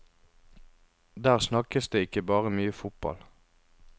Der snakkes det ikke bare mye fotball.